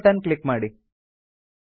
okay button click ಮಾಡಿ